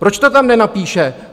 Proč to tam nenapíše?